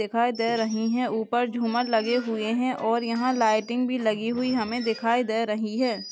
-- दिखाई दे रही है ऊपर झूमर लगे हुए हैं और यहाँ लाइटिंग भी लगी हुुई हमें दिखाई दे रही है।